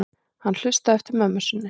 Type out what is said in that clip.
Hann hlustaði eftir mömmu sinni.